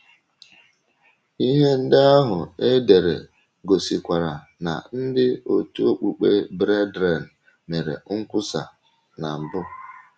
Ihe ndị ahụ e dere gosikwara na ndị òtù okpukpe Brethren mere nkwusa na mbụ.